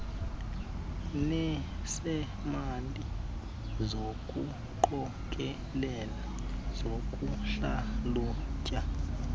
nesemali sokuqokelela sokuhlalutya